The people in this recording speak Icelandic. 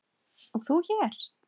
og þú hér?